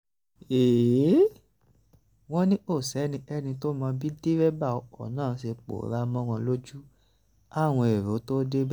wọ́n ní kò sẹ́nikẹ́ni tó mọ bí dẹ́rẹ́bà ọkọ̀ náà ṣe pòórá mọ́ wọn lójú káwọn èrò tóo débẹ̀